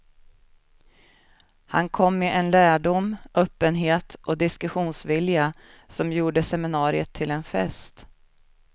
Han kom med en lärdom, öppenhet och diskussionsvilja som gjorde seminariet till en fest.